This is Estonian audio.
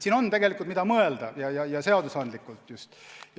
Siin on, mida seadusandjal mõelda.